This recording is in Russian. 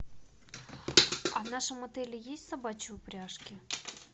в нашем отеле есть собачьи упряжки